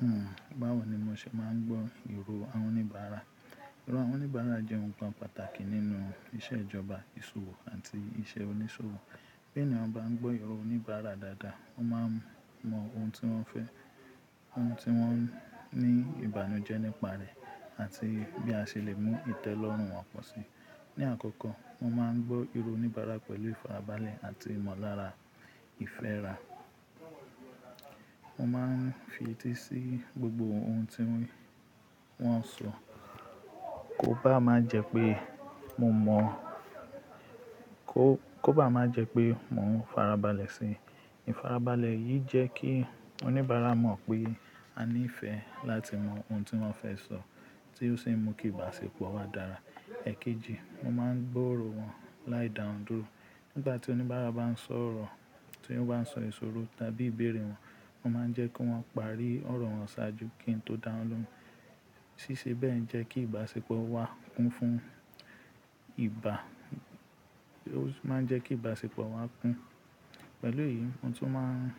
Hmm, báwo ni mo ṣe máa ń gbọ́ ìró àwọn oníbàárà? Ìró àwọn oníbàárà jẹ́ ohun kan pàtàkì nínú iṣẹ́ ìjọba, ìṣòwò àti iṣẹ́ oníṣòwò. Bí ènìyàn bá ń gbọ́ ìró oníbàárà dáadáa, wọ́n máa mọ ohun tí wọ́n fẹ́, ohun tí wọ́n ní ìbànújẹ́ nípa rẹ̀ àti bí a ṣe lè mú ìtẹ́ lọ́rùn wọn pọ̀ sí. Ní àkọ́kọ́, mo máa ń gbọ́ ìró oníbàárà pẹ̀lú ìfarabalẹ̀ àti ìmọ̀lára ìfẹ́ra. Mo máa ń fi etí sí gbogbo ohun tí wọ́n sọ, kó bá má jẹ pé mo mọ-- kó, kó bá má jẹ pé mò ń farabalẹ̀ síi. Ìfarabalẹ̀ yìí jẹ́ kí oníbàárà mọ̀ pé a ní ìfẹ́ láti mọ ohun tí wọ́n fẹ́ sọ tí ó sì ń mú kí ìbáṣepọ̀ wa dára. Èkejì, mo máa ń gbọ́ ìró wọn láì dá won dúró. Nígbà tí oníbàárà bá ń sọ ọ̀rọ̀, tí wọ́n bá ń sọ ìṣòro tàbí ìbéèrè wọn, mo máa ń jẹ́ kí wọ́n parí ọ̀rọ̀ wọn ṣáájú kí n tó dáhùn lóun. Síse bẹ́ẹ̀ ń jẹ́ kí ìbáṣepọ̀ wa kún fún ìbá-- ó sì máa ń jẹ́ kí ìbáṣepọ̀ wa kún. Pẹ̀lú èyí, mo tún máa ń